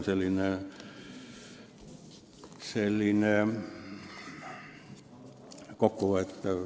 Selline oli siis asja kokkuvõte.